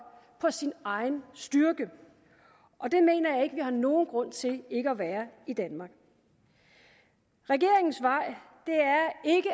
på sin egen styrke og det mener jeg vi har nogen grund til ikke at være i danmark regeringens vej